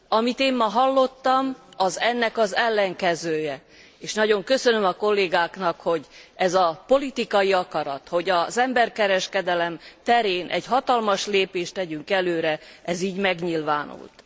Amit én ma hallottam, az ennek az ellenkezője, és nagyon köszönöm a kollégáknak, hogy ez a politikai akarat, hogy az emberkereskedelem terén egy hatalmas lépést tegyünk előre, ez így megnyilvánult.